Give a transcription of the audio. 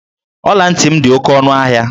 Ọla ntị m dị oke ọnụ ahịa.